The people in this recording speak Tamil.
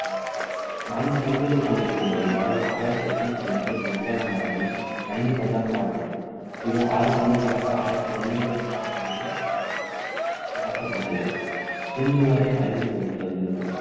நான்கு பந்துகள் கொண்டிருந்த ஒரு over ஆயிரத்து எண்ணூற்று எண்பத்து ஒன்பதாம் ஆண்டில் ஐந்து பந்தாக மாறப்பட்டது இது ஆறு பந்துகளாக ஆயிரத்து தொன்னூறு ஆம் ஆண்டில் மாற்றப்பட்டது இன்றுவரை கடைபிடிக்கப்பட்டு வருகிறது